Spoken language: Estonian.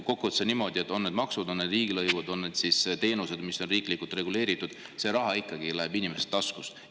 Kokkuvõttes on niimoodi, et on need maksud, on need riigilõivud, on need teenused, mis on riiklikult reguleeritud, see raha ikkagi läheb inimeste taskust.